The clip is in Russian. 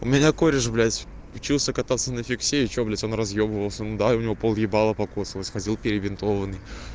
у меня кореш блядь учился кататься на фиксе и что блядь он разъёбывался ну да и у него пол лица покоцаных ходил перебинтованный